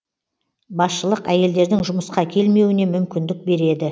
басшылық әйелдердің жұмысқа келмеуіне мүмкіндік береді